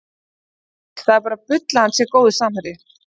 Haukur Páll, það er bara bull hvað hann er góður samherji